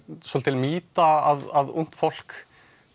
svolítil mýta að ungt fólk